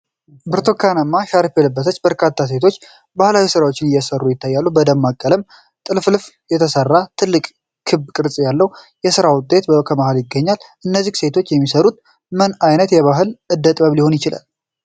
ብርቱካናማ ሻርፕ የለበሱ በርካታ ሴቶች የባህላዊ ስራዎችን እየሰሩ ይታያል። በደማቅ ቀለም ጥልፍልፍ የተሰራ ትልቅ ክብ ቅርጽ ያለው የስራ ውጤት ከመሀል ይገኛል። እነዚህ ሴቶች የሚሰሩት ምን ዓይነት ባህላዊ እደ ጥበብ ሊሆን ይችላል?